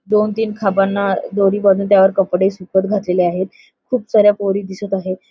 दोन तीन खांबांना दोरी बांधून त्यावर कपडे सुकत घातलेले आहेत खूप साऱ्या पोरी दिसत आहेत.